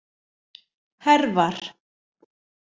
Hervar